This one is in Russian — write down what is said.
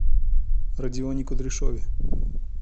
родионе кудряшове